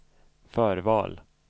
förval